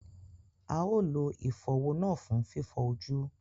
A ó lo ìfọ̀wọ́ náà fún fífọ ojú